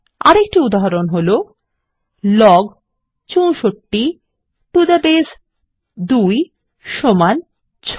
আরেকটি উদাহরণ হল160 লগ ৬৪ টো থে বাসে 2 সমান 6